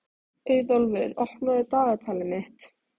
Auðólfur, opnaðu dagatalið mitt.